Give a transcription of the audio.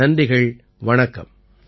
நன்றிகள் வணக்கம்